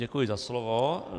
Děkuji za slovo.